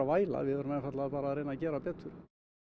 væla við verðum einfaldlega bara að reyna að gera betur